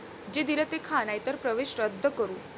जे दिलं ते खा नाही तर प्रवेश रद्द करू'